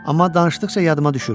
Amma danışdıqca yadıma düşür.